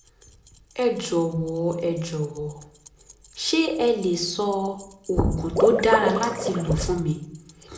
ẹ jọ̀wọ́ ẹ jọ̀wọ́ ṣé ẹ le sọ oògùn tó dára láti lò fún mi